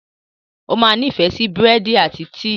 O máa nifẹ si búrẹ́dì ati tíí